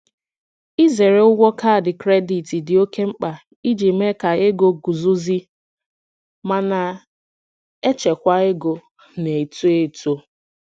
Ịzere ụgwọ kaadị kredit dị oké mkpa iji mee ka ego guzozie ma na-echekwa ego na-eto eto.